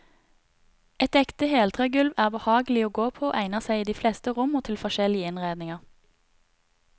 Et ekte heltregulv er behagelig å gå på og egner seg i de fleste rom og til forskjellige innredninger.